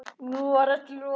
Nú var öllu lokið.